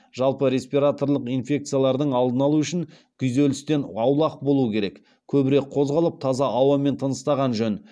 жалпы респираторлық инфекциялардың алдын алу үшін күйзелістен аулақ болу керек көбірек қозғалып таза ауамен тыныстаған жөн